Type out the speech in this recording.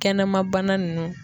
Kɛnɛma bana nunnu.